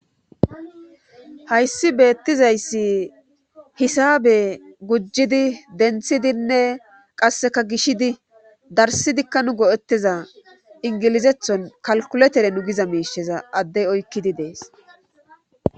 hayssi beettizayssi hisabe gujjidi denthidinne qasseka gishidi darsidikka nu go'ettiza ingilizethon kalkuletere nu giza miisheza addey oykkidi de'es